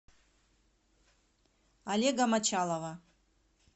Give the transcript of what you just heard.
олега мочалова